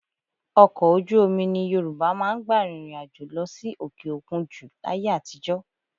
Ọkọ̀ ojú omi ni Yorùbá máa ń gbà rìnrìn àjò lọ sí òkè òkun jù láyé àtijọ́